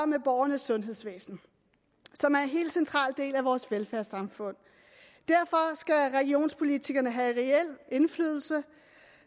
med borgernes sundhedsvæsen som er en helt central del af vores velfærdssamfund og derfor skal regionspolitikerne have reel indflydelse